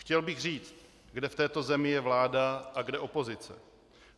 Chtěl bych říct, kde v této zemi je vláda a kde opozice.